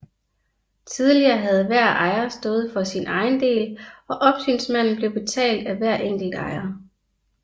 Tidligere havde hver ejer stået for sin egen del og opsynsmanden blev betalt af hver enkelt ejer